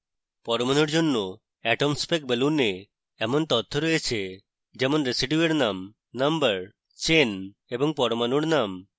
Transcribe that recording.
পরমাণুর জন্য atomspec balloon এ এমন তথ্য রয়েছে যেমন: residue এর name number chain এবং পরমাণুর name